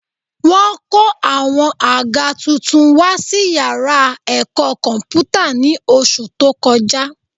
Wọ́n kó àwọn àga tuntun wá sí yàrá ẹ̀kọ́ kọ̀m̀pútà ní oṣù tó kọjá